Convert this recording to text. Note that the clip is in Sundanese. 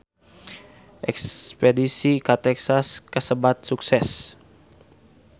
Espedisi ka Texas kasebat sukses